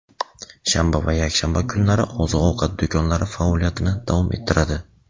Shanba va yakshanba kunlari oziq-ovqat do‘konlari faoliyatini davom ettiradi.